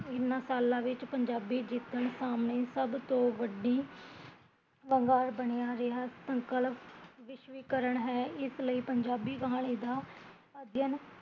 ਇਹਨਾਂ ਸਾਲਾਂ ਵਿੱਚ ਪੰਜਾਬੀ ਜਿੱਦਣ ਸਾਹਮਣੇ ਸਭ ਤੋਂ ਵੱਡੀ ਵੰਗਾਰ ਬਣਿਆ ਰਿਹਾ, ਸੰਕਲਪ ਵਿਸ਼ਵੀਕਰਨ ਹੈ ਇਸ ਲਈ ਪੰਜਾਬੀ ਕਹਾਣੀ ਦਾ ਅਧਿਅਨ